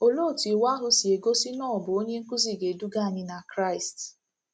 Olee otú Iwu ahụ si gosi na o bụ "onye nkuzi na-eduga anyị na Kraịst’?